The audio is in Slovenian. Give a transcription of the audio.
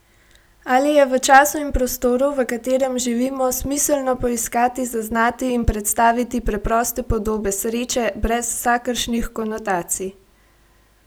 Ali je v času in prostoru, v katerem živimo, smiselno poiskati, zaznati in predstaviti preproste podobe sreče, brez vsakršnih konotacij?